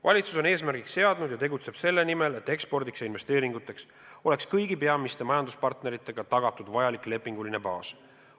Valitsus on eesmärgiks seadnud ja tegutseb selle nimel, et ekspordiks ja investeeringuteks oleks kõigi peamiste majanduspartneritega tagatud vajalik lepinguline baas.